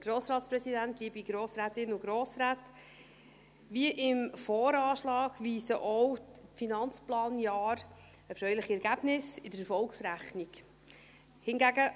Wie der VA, weisen auch die Finanzplanjahre erfreuliche Ergebnisse in der Erfolgsrechnung auf.